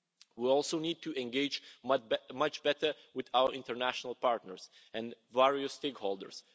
We also need to engage much better with our international partners and various stakeholders.